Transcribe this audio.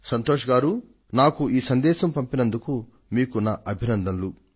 సంతోష్ గారూ ఈ సందేశాన్ని పంపినందుకు మీకు ఇవే నా అభినందనలు